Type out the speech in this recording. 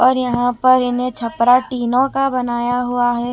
और यहां पर इन्हें छपरा टीनों का बनाया हुआ है।